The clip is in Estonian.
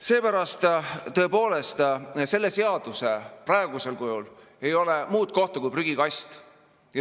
Seepärast tõepoolest, sellele seadusele praegusel kujul ei ole muud kohta kui prügikast.